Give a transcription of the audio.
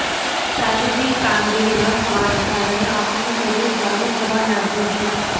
શારીરિક કામગીરી ન થવા ને કારણે આપણું શરીર જાડુ થવા લાગ્યું છે